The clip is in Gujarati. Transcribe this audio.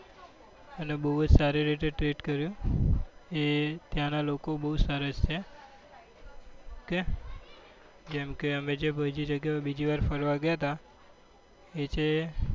અને બઉ જ સારી રીતે treat કર્યું એ ત્યાં નાં લોકો બઉ જ સારા છે ok કેમ કે અમે જે બીજી જગ્યા એ બીજી વાર ફરવા ગયા હતા એ છે